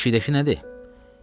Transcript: Yeşikdəki nədir?